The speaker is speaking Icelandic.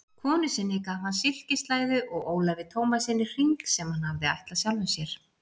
Konu sinni gaf hann silkislæðu og Ólafi Tómassyni hring sem hann hafði ætlað sjálfum sér.